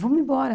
Vamos embora.